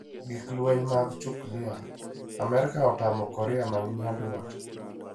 giklueny mag nyuklia: Amerika otamo Korea ma Nyanduat